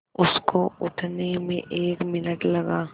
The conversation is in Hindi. उसको उठने में एक मिनट लगा